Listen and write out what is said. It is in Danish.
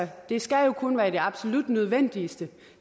det skal kun være i de absolut nødvendigste